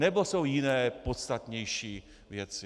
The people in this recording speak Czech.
Nebo jsou jiné, podstatnější věci?